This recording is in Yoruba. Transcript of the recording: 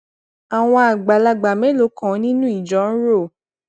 àwọn àgbàlagbà mélòó kan nínú ìjọ ń rò